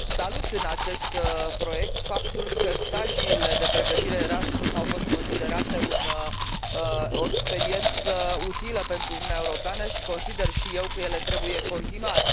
Salut în acest proiect faptul că stagiile de pregătire Erasmus au fost considerate o experiență utilă pentru Uniunea Europeană și consider și eu că ele trebuie continuate.